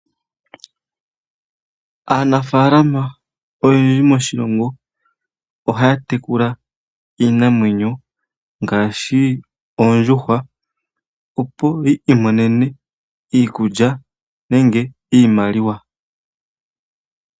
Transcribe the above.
Aanafaalama oyendji moshilongo ohaya tekula iinamwenyo ngaashi oondjuhwa po yiimonene iikulya nenge iimaliwa.